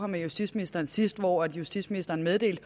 med justitsministeren sidst og hvor justitsministeren meddelte